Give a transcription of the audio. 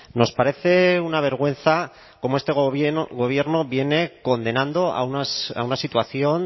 nos parece una vergüenza cómo este gobierno viene condenando a una situación